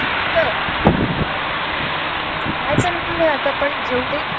पण मग लोकांनी पण प्रत्येकाचा विचार करून गोष्टी करायला पाहिजेत आस मला तरी वाटत .